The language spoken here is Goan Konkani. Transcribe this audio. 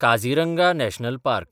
Kaziranga National park